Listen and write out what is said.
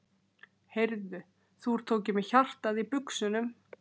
Heyrðu. þú ert þó ekki með hjartað í buxunum!